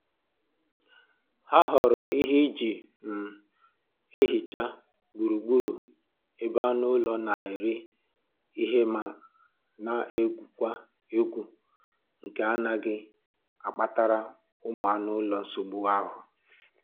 Ha họọrọ ihe e ji um ehicha gburu gburu ebe anụ ụlọ na-eri ihe ma na-egwukwa egwu nke na-agaghị akpatara ụmụ anụ ụlọ nsogbu ahụ